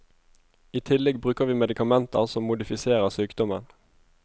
I tillegg bruker vi medikamenter som modifiserer sykdommen.